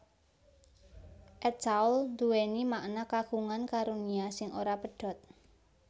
At Tawl nduwèni makna Kagungan karunia sing ora pedhot